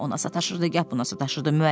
Gah ona sataşırdı, gah buna sataşırdı.